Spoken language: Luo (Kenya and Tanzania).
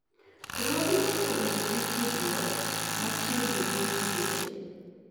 ruodhi osebedo gi tudruok machiegni gi nyiseche –